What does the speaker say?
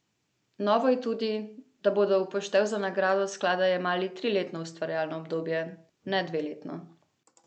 Novo je tudi, da bodo v poštev za nagrado sklada jemali triletno ustvarjalno obdobje, ne dveletno.